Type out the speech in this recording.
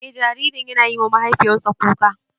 Eh jaririn yana yiwa mahaifiyarsa kuka.